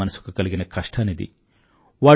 పేదవాడి మనసుకు కలిగిన కష్టానిది